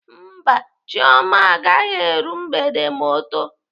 Mba, Chioma agaghị eru mgbede ma ọ too.